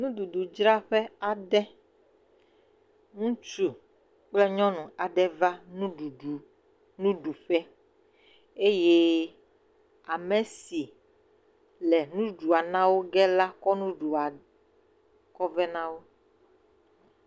Nuɖuɖudzraƒe aɖe, ŋutsu kple nyɔnu aɖe va nuɖuɖu nuɖuƒe eye amesi le nuɖuɖua na woge la kɔ nuɖuɖua kɔve nawo.